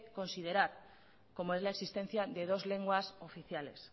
considerar como es la existencia de dos lenguas oficiales